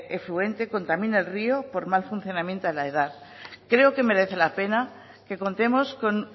efluente contamine el río por mal funcionamiento de la edar creo que merece la pena que contemos con